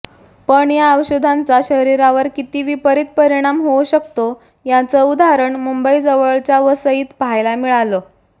पण या औषधांचा शरीरावर किती विपरित परिणाम होऊ शकतो याचं उदाहरण मुंबईजवळच्या वसईत पाहायला मिळालं